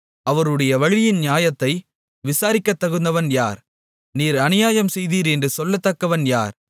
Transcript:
அவருடைய வழியின் நியாயத்தை விசாரிக்கத்தகுந்தவன் யார் நீர் அநியாயம் செய்தீர் என்று சொல்லத்தக்கவன் யார்